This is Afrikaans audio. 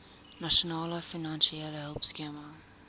nasionale finansiële hulpskema